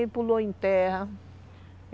E pulou em terra.